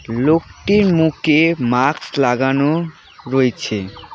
লোকটির মুখে মাকস লাগানো রয়েছে।